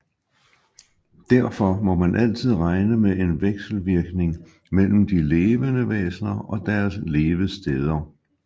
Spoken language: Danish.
Derfor må man altid regne med en vekselvirkning mellem de levende væsner og deres levesteder